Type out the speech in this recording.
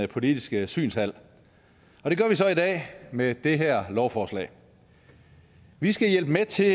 politiske synshal og det gør vi så i dag med det her lovforslag vi skal hjælpe med til